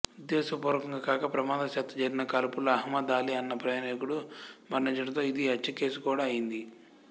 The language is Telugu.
ఉద్దేశపూర్వకంగా కాక ప్రమాదవశాత్తూ జరిగిన కాల్పులో అహ్మద్ అలీ అన్న ప్రయాణికుడు మరణించడంతో ఇది హత్యకేసు కూడా అయింది